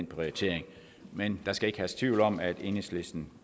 prioriteringen men der skal ikke herske tvivl om at enhedslisten